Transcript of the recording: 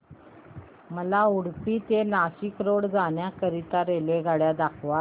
मला उडुपी ते नाशिक रोड जाण्या करीता रेल्वेगाड्या दाखवा